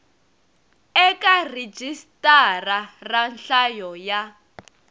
eka rhijisitara ra nhlayo ya